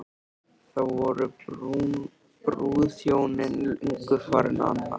Þá voru brúðhjónin löngu farin annað.